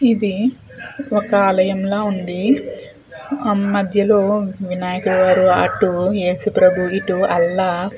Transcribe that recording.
ఇది ఒక ఆలయం లాగా ఉంది. మధ్యలో వినాయకుని వారు అటు యేసు ప్రభు ఇటు అల్లా.